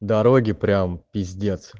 дороги прям пиздец